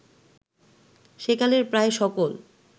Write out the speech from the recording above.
সেকালের প্রায় সকল